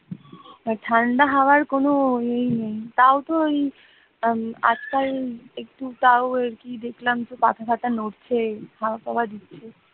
ঠান্ডা হাওয়ার কোন ইয়েই নেই তাও তো ওই আটটা ওই কি দেখলাম পাতা পাতা নড়ছে হাওয়া টাওয়া দিচ্ছে